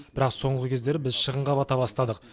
бірақ соңғы кездері біз шығынға бата бастадық